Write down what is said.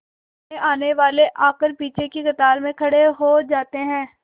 नए आने वाले आकर पीछे की कतार में खड़े हो जाते हैं